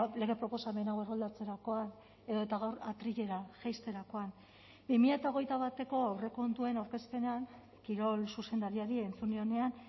lege proposamen hau erroldatzerakoan edota gaur atrilera jaisterakoan bi mila hogeita bateko aurrekontuen aurkezpenean kirol zuzendariari entzun nionean